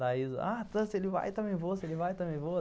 Daí, se ele vai, também vou, se ele vai, também vou.